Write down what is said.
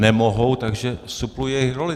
Nemohou, takže supluji jejich roli.